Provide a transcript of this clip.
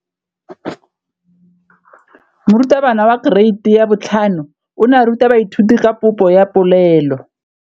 Moratabana wa kereiti ya 5 o ne a ruta baithuti ka popô ya polelô.